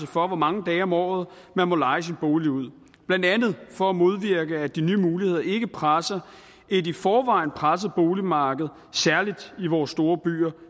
for hvor mange dage om året man må leje sin bolig ud blandt andet for at modvirke at de nye muligheder ikke presser et i forvejen presset boligmarked særlig i vores store byer